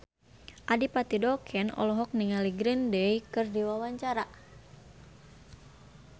Adipati Dolken olohok ningali Green Day keur diwawancara